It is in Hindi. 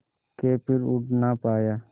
के फिर उड़ ना पाया